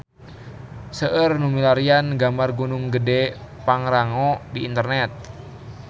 Seueur nu milarian gambar Gunung Gedhe Pangrango di internet